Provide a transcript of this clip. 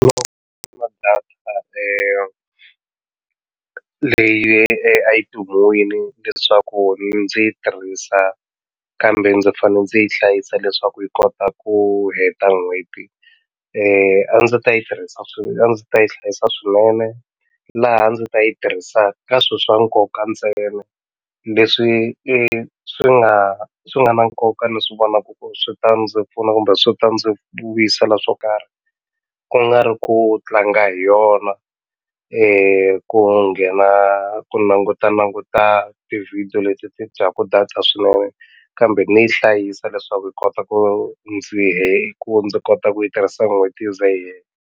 na data leyi a yi pimiwile leswaku yi ndzi yi tirhisa kambe ndzi fane ndzi yi hlayisa leswaku yi kota ku heta n'hweti a ndzi ta yi tirhisa a ndzi ta yi hlayisa swinene laha a ndzi ta yi tirhisaka ka swi swa nkoka ntsena leswi i swi nga swi nga na nkoka ni swi vonaku ku swi ta ndzi pfuna kumbe swi ta ndzi vuyisela swo karhi ku nga ri ku tlanga hi yona ku nghena ku langutalanguta tivhidiyo leti ti dyaku data swinene kambe ni yi hlayisa leswaku yi kota ku ndzi ku ndzi kota ku yi tirhisa n'hweti yi ze yi hela.